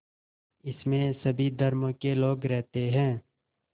इसमें सभी धर्मों के लोग रहते हैं